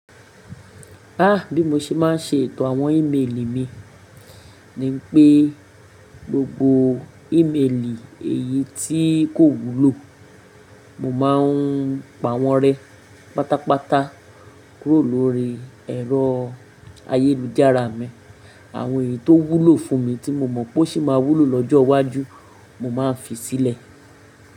Ah bí mo ṣe má n ṣe ètò àwọn ímeèlì mi ni pé gbogbo ímeèlì èyí tí kò wúlò, mo má n pa wọ́n rẹ pátápátá kúrò lórí ẹ̀rọ ayélujára mi. Àwọn èyí tó wúlò fún mi tí mo mọ̀ pé ó ṣì máa wúlò lọ́jọ́ iwájú, mo má n fi sílẹ̀.